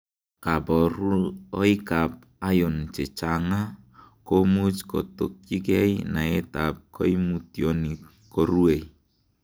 Koburoikab iron chekachang'a komuch kotokyikei naetab koimutioni korue.